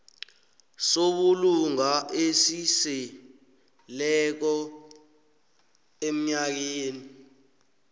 sobulunga esiseleko emnyakeni